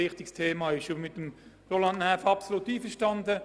Ich bin mit Roland Näf absolut einverstanden: